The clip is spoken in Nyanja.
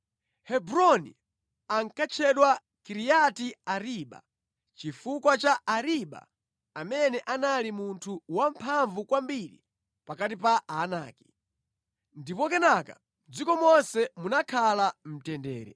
(Hebroni ankatchedwa Kiriati Ariba chifukwa cha Ariba amene anali munthu wamphamvu kwambiri pakati pa Aanaki). Ndipo kenaka mʼdziko monse munakhala mtendere.